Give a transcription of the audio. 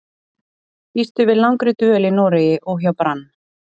Býstu við langri dvöl í Noregi og hjá Brann?